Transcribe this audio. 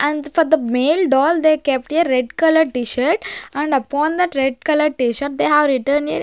And for the male doll they kept a red color t-shirt and upon the red color t-shirt they have written a --